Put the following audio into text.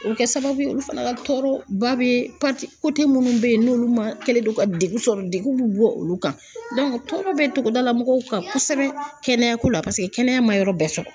O bɛ kɛ sababu ye olu fana ka tɔɔrɔ ba bɛ minnu bɛ yen n'olu ma kɛlen don ka degun sɔrɔ degun bɛ bɔ olu kan tɔɔrɔ bɛ togodala mɔgɔw kan kosɛbɛ kɛnɛyako la, paseke kɛnɛya ma yɔrɔ bɛɛ sɔrɔ.